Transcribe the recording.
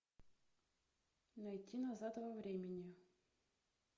найти назад во времени